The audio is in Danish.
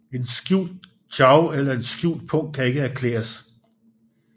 En skjult chow eller en skjult pung skal ikke erklæres